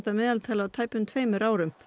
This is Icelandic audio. meðaltali á tæplega tveimur árum